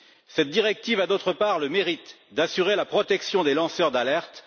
Cette directive a, d'autre part, le mérite d'assurer la protection des lanceurs d'alerte.